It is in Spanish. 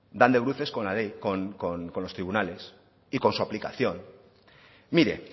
dan de bruces con la ley con los tribunales y con su aplicación mire